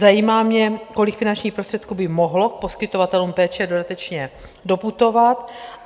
Zajímá mě, kolik finančních prostředků by mohlo poskytovatelům péče dodatečně doputovat?